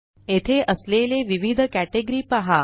येथे असलेले विविध केटेगरी पहा